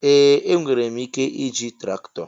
Ee! Enwere m ike iji traktọ.